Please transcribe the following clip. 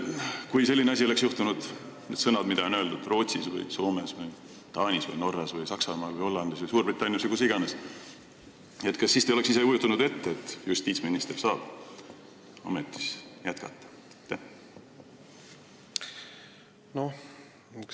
Kui selline asi oleks juhtunud, kui need sõnad, mis on öeldud, oleks öeldud Rootsis, Norras, Taanis, Soomes, Saksamaal, Hollandis, Suurbritannias või kus iganes, kas te oleksite ette kujutanud, et justiitsminister saaks oma ametis jätkata?